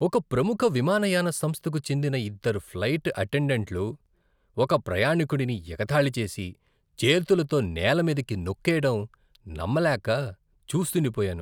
ఒక ప్రముఖ విమానయాన సంస్థకు చెందిన ఇద్దరు ఫ్లైట్ అటెండెంట్లు ఒక ప్రయాణికుడిని ఎగతాళి చేసి, చేతులతో నేలమీదకి నొక్కెయ్యడం నమ్మలేక చూస్తుండిపోయాను.